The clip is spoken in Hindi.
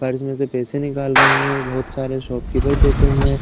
पर्स में से पैसे निकाल रही है। बहुत सारे शॉपकीपर बैठे हुए हैं।